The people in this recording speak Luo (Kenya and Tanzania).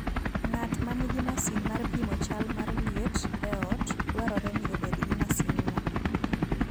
Ng'at ma nigi masin mar pimo chal mar liet e ot, dwarore ni obed gi masinno.